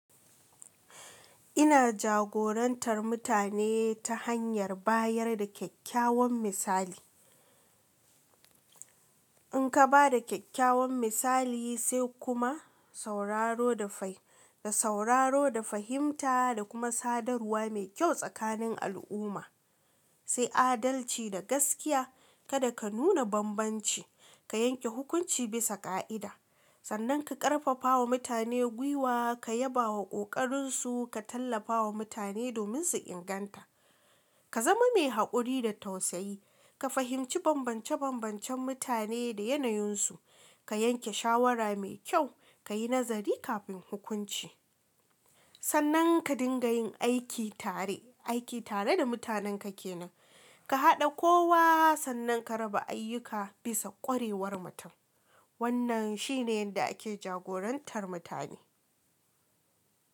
Ina jagorantar mutane ta hanyar bayar da kyakkyawan misali. In ka ba da kyakkyawan misali sai kuma sauraro da fah, da sauraro da fahimta da kuma sadarwa mai kyau tsakanin al'umma, sai adalci da gaskiya kada ka nuna bambanci, ka yanke hukunci bisa ka'ida sannan ka karfafa wa mutane gwiwa, ka yaba wa kokarin su, ka tallafa wa mutane domin su inganta. Ka zama mai haƙuri da tausayi, ka fahimci bambance bambancen mutane da yanayin su, ka yanke shawara mai kyau, ka yi nazari kafin hukunci. Sannan ka dinga yin aiki tare, aiki tare da mutanen ka ke nan, ka haɗa kowa sannan ka raba ayyuka bisa ƙwarewar mutum. Wannan shi ne yadda ake jagorantar mutane.